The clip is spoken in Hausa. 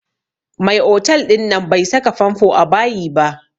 Mai otal ɗin nan bai saka famfo a bayi ba